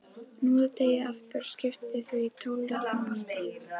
Hnoðið deigið aftur og skiptið því í tólf jafna parta.